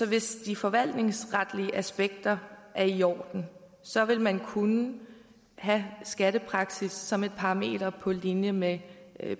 hvis de forvaltningsretlige aspekter er i orden så vil man kunne have skattepraksis som et parameter på linje med